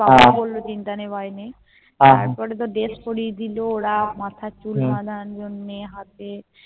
বাবা বললো চিন্তা নেই ভয় নেই তারপরে তো Dress পরিয়ে দিলো ওরা মাথায় চুল বাধার জন্য হাতে